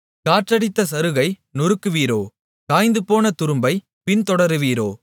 காற்றடித்த சருகை நொறுக்குவீரோ காய்ந்துபோன துரும்பைப் பின்தொடருவீரோ